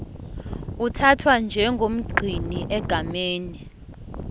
uthathwa njengomgcini egameni